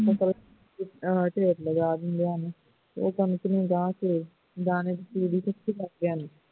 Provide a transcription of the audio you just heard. ਮਤਲਬ ਢੇਰ ਲਗਾ ਦਿੰਦੇ ਹਨ ਉਹ ਕਣਕ ਨੂੰ ਲਾਹ ਕੇ ਦਾਣੇ ਤੂੜੀ ਇਕੱਠੀ ਕਰਦੇ ਹਨ